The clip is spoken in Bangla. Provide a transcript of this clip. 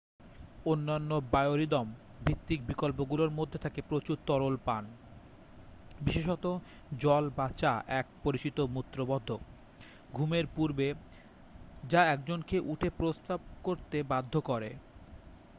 অন্যান্য বায়োরিদম-ভিত্তিক বিকল্পগুলোর মধ্যে থাকে প্রচুর তরল পান বিশেষত জল বা চা এক পরিচিত মূত্রবর্ধক ঘুমের পূর্বে যা একজনকে উঠে প্রস্রাব করতে বাধ্য করে।